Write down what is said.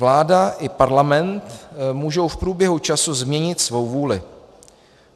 Vláda i Parlament můžou v průběhu času změnit svou vůli.